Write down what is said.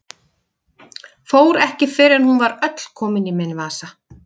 Fór ekki fyrr en hún var öll komin í minn vasa.